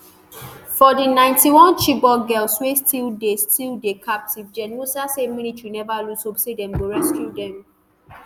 for di ninety-one chibok girls wey still dey still dey captive gen musa say military neva lose hope say dem go rescue dem